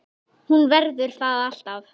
Hún verður það alltaf